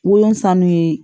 Wolonfan nu